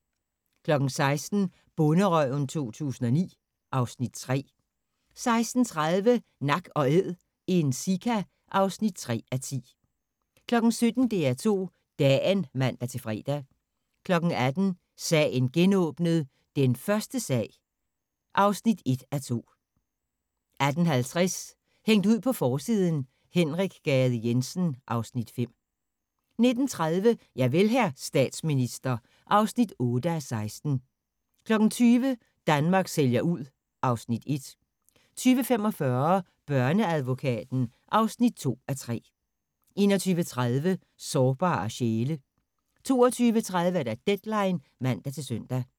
16:00: Bonderøven 2009 (Afs. 3) 16:30: Nak & Æd – en sika (3:10) 17:00: DR2 Dagen (man-fre) 18:00: Sagen genåbnet: Den første sag (1:2) 18:50: Hængt ud på forsiden: Henrik Gade Jensen (Afs. 5) 19:30: Javel, hr. statsminister (8:16) 20:00: Danmark sælger ud (Afs. 1) 20:45: Børneadvokaten (2:3) 21:30: Sårbare sjæle 22:30: Deadline (man-søn)